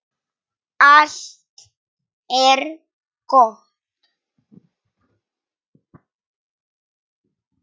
Allt er gott!